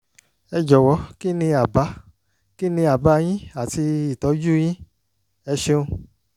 ẹ jọ̀wọ́ kí ni àbá kí ni àbá yín àti ìtọ́jú yín? ẹ ṣeun